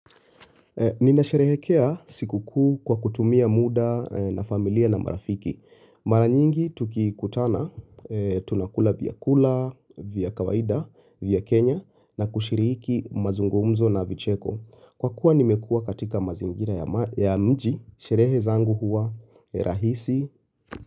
Ninasherehekea siku kuu kwa kutumia muda na familia na marafiki. Mara nyingi tukikutana tunakula vyakula, vya kawaida, vya Kenya na kushiriki mazungumzo na vicheko. Kwa kuwa nimekua katika mazingira ya mji, sherehe zangu huwa rahisi.